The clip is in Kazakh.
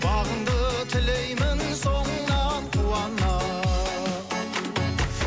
бағыңды тілеймін соңыңнан қуана